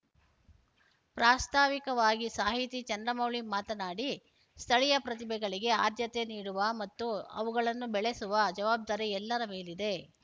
ಪ್ರಾಸ್ತಾವಿಕವಾಗಿ ಸಾಹಿತಿ ಚಂದ್ರಮೌಳಿ ಮಾತನಾಡಿ ಸ್ಥಳಿಯ ಪ್ರತಿಭೆಗಳಿಗೆ ಆದ್ಯತೆ ನೀಡುವ ಮತ್ತು ಅವುಗಳನ್ನು ಬೆಳೆಸುವ ಜವಬ್ದಾರಿ ಎಲ್ಲರ ಮೇಲಿದೆ